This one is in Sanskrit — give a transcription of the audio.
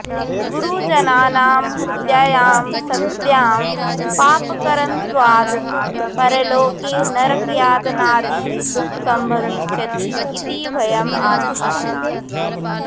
गुरुजनानां हत्यायां सत्यां पापकर्मत्वाद् परलोके नरकयातनादि दुःखं भविष्यति इति भयम् आसीत्